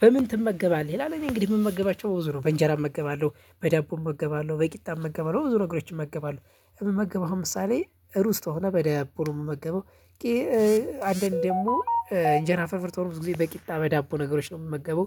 በምን ትመገባለህ? ይላል እኔ እንግዲህ የምመገባቸው ዞሮ በእንጀራ እመገባለሁ፣ በዳቦ እመገባለሁ፣ በቂጣ እመገባለሁ በብዙ ነግሮች እመገባለሁ። የምመገበው አሁን ምሳሌ ሩዝ ከሆነ በዳቦ ነው የምመገበው አንዳንዴ ደግሞ እንጀራ ፍርፍር ከሆነ ብዙ ጊዜ በቂጣ በዳቦ ነገሮች ነው የምመገበው